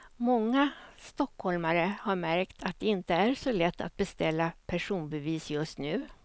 Många stockholmare har märkt att det inte är så lätt att beställa personbevis just nu.